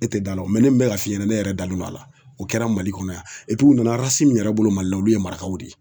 E tɛ da la ne min bɛ ka fiyɛ ne yɛrɛ dalen don a la o kɛra Mali kɔnɔ yan u nana min yɛrɛ bolo Mali la olu ye marakaw de ye